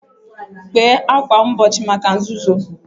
Kpee ákwà mgbochi maka nzuzo.